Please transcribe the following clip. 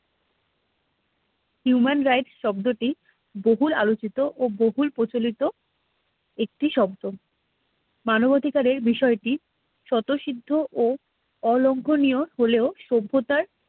human rights শব্দটি বহুল আলোচিত ও বহুল প্রচলিত একটি শব্দ মানবাধিকারের বিষয়টি শত সিদ্ধ ও অলংকনীয় হলেও সভ্যতার